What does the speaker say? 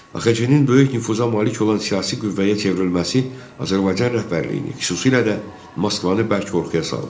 AXC-nin böyük nüfuza malik olan siyasi qüvvəyə çevrilməsi Azərbaycan rəhbərliyini, xüsusilə də Moskvanı bərk qorxuya saldı.